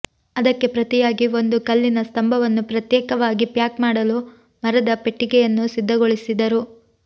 ಅದಕ್ಕೆ ಪ್ರತಿಯಾಗಿ ಒಂದು ಕಲ್ಲಿನ ಸ್ತಂಭವನ್ನು ಪ್ರತ್ಯೇಕವಾಗಿ ಪ್ಯಾಕ್ ಮಾಡಲು ಮರದ ಪೆಟ್ಟಿಗೆಯನ್ನು ಸಿದ್ಧಗೊಳಿಸಿದರು